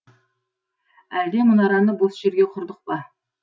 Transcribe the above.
әлде мұнараны бос жерге құрдық па